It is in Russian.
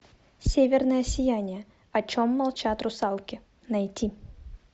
северное сияние о чем молчат русалки найти